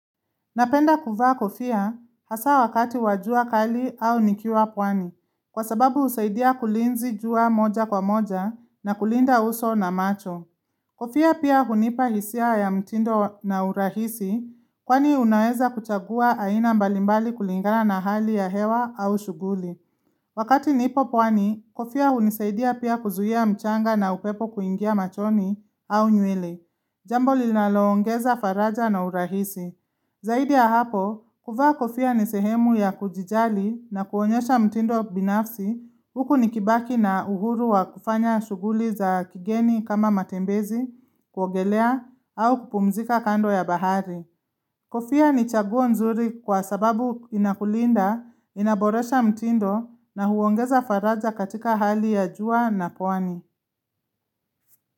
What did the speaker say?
Napenda kuvaa kofia hasa wakati wa jua kali au nikiwa pwani, kwa sababu husaidia kulinzi jua moja kwa moja na kulinda uso na macho. Kofia pia hunipa hisia ya mtindo na urahisi kwani unaweza kuchagua aina mbalimbali kulingana na hali ya hewa au shughuli. Wakati nipo pwani, kofia hunisaidia pia kuzuhia mchanga na upepo kuingia machoni au nywele. Jambo linaloongeza faraja na urahisi. Zaidi ya hapo, kuvaa kofia ni sehemu ya kujijali na kuonyesha mtindo binafsi huku nikibaki na uhuru wa kufanya shughuli za kigeni kama matembezi, kuogelea, au kupumzika kando ya bahari. Kofia ni chaguo nzuri kwa sababu inakulinda, inaboresha mtindo na huongeza faraja katika hali ya jua na kwani.